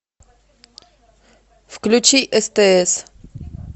включи стс